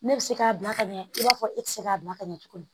Ne bɛ se k'a bila ka ɲɛ i b'a fɔ e tɛ se k'a bila ka ɲɛ cogo di